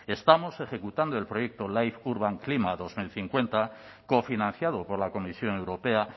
estamos ejecutando el proyecto life urban klima dos mil cincuenta cofinanciado por la comisión europea